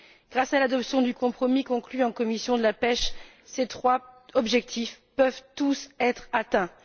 Grâce à l'adoption du compromis conclu en commission de la pêche, ces trois objectifs peuvent tous être atteints.